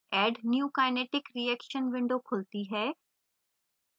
add new kinetic reaction window खुलती है